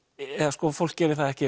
sko fólk gerir það ekki